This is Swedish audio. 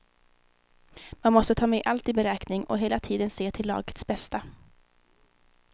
Man måste ta med allt i beräkning och hela tiden se till lagets bästa.